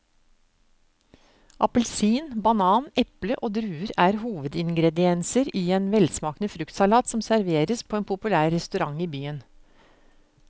Appelsin, banan, eple og druer er hovedingredienser i en velsmakende fruktsalat som serveres på en populær restaurant i byen.